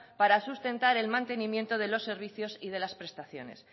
para sustentar el mantenimiento de los servicios y de las prestaciones